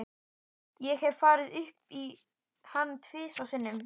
Ég hef farið upp í hann tvisvar sinnum.